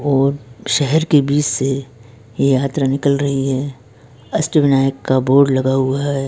और शहर के बीच से ये यत्र निकल रही है अष्टविनायक का बोर्ड लगा हुआ है।